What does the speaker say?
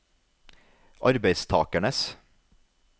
arbeidstakernes